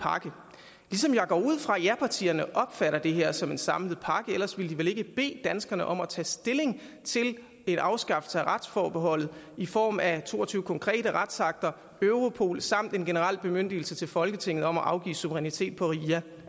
pakke ligesom jeg går ud fra at japartierne opfatter det her som en samlet pakke ellers ville de vel ikke bede danskerne om at tage stilling til en afskaffelse af retsforbeholdet i form af to og tyve konkrete retsakter og europol samt en generel bemyndigelse til folketinget om at afgive suverænitet på ria